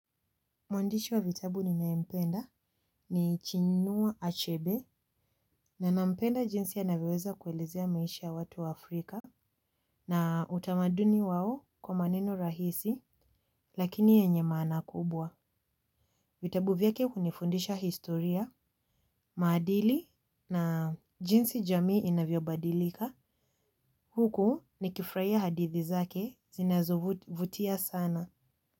Mwandishi wa vitabu ninayempenda ni Chinua Achebe na nampenda jinsi anavyoweza kuelezea maisha ya watu Afrika. Na utamaduni wao kwa maneno rahisi lakini yenye maana kubwa. Vitabu vyake hunifundisha historia, maadili na jinsi jamii inavyobadilika. Huku nikifurahia hadithi zake zinazo vutia sana.